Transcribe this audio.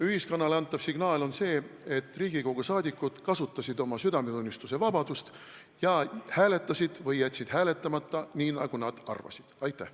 Ühiskonnale antav signaal on see, et Riigikogu liikmed kasutasid südametunnistusevabadust ja hääletasid või jätsid hääletamata, nii nagu nad arvasid, et on õige.